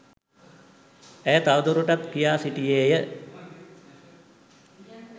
ඇය තවදුරටත් කියා සිටියේය